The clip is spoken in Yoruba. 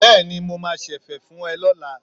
Bẹ́ẹ̀ni, mo máa ṣẹ̀fẹ̀ fún ẹ lọ́la.